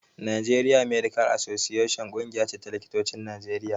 Nigerian medical association ƙungiya ce ta likitocin Najeriya